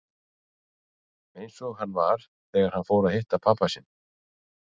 Eins og hann var þegar hann fór að að hitta pabba sinn.